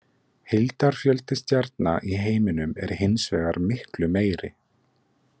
Heildarfjöldi stjarna í heiminum er hins vegar miklu meiri.